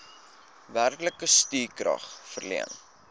werklike stukrag verleen